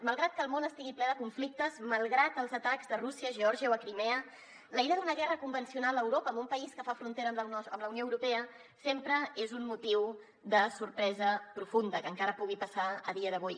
malgrat que el món estigui ple de conflictes malgrat els atacs de rússia a geòrgia o a crimea la idea d’una guerra convencional a europa en un país que fa frontera amb la unió europea sempre és un motiu de sorpresa profunda que encara pugui passar a dia d’avui